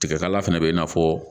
Tigɛkala fɛnɛ bɛ i n'a fɔ